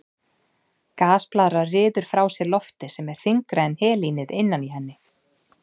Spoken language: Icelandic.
Gasblaðra ryður frá sér lofti sem er þyngra en helínið innan í henni.